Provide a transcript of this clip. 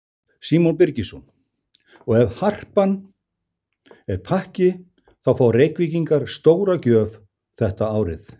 Símon Birgisson: Og ef Harpan er pakki þá fá Reykvíkingar stóra gjöf þetta árið?